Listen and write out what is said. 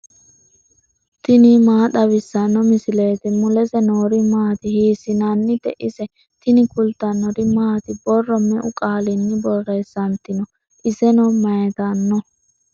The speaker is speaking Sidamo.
tini maa xawissanno misileeti ? mulese noori maati ? hiissinannite ise ? tini kultannori maati? Borro meu qaalinni borreessanitinno? isenno mayiittanno?